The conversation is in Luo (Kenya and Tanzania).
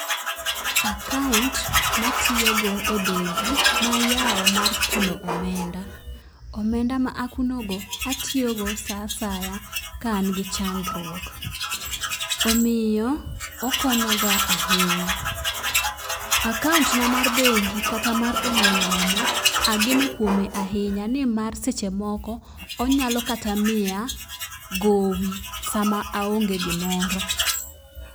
Akaunt matiyo go e bengi nayawo mar kano omenda. Omenda ma akuno go atiyo go saa asaya ka an gi chandruok . Omiyo okonya ga ahinya. Akaunt na mar bengi kata mar ong'we yamo ageno kuome ahinya nimar seche moko onyalo kata miya gowi sama aonge gimoro.